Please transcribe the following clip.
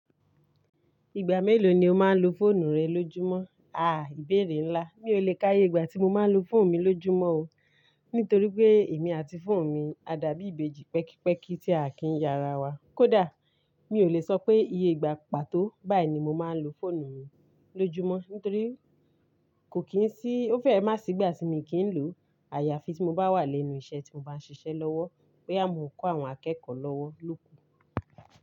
Ìgbà mélòó ni o máa ń lo fóònù rẹ lójúmọ́? Aà, ìbéèrè ńlá. Mi ò lè káyé ìgbà tí mo máa ń lo fóònù mi lójúmọ́ o, nítorí pé èmi àti fóònù mi a dàbí ìbejì pẹ́kípẹ́kí tí a kì í yára wa. Kódà, mi ò lè sọ pé iye ìgbà pàtó báyìí ni mo máa ń lo fóònù mi lójúmọ́ nítorí kò kí n sí-- ó fẹ́ má sì ìgbà tí mo kì í lòó, àyàfi tí mo bá wà lẹ́nu iṣẹ́ tí mo bá ń ṣiṣẹ́ lọ́wọ́ boya mọ́ n kó àwọn akẹ́kọ̀ọ́ lọ́wọ́ lóko.